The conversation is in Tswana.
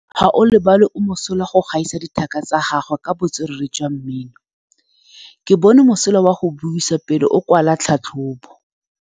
Gaolebalwe o mosola go gaisa dithaka tsa gagwe ka botswerere jwa mmino. Ke bone mosola wa go buisa pele o kwala tlhatlhobô.